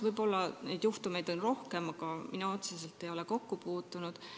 Võib-olla on neid juhtumeid olnud rohkem, aga mina otseselt ei ole nendega kokku puutunud.